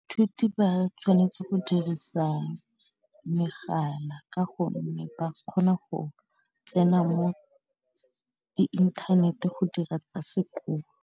Ba tshwanetse go dirisa megala ka gonne ba kgona go tsena mo inthanete go dira tsa sekolo.